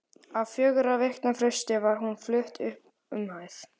Á fjögurra vikna fresti var hún flutt upp um hæð.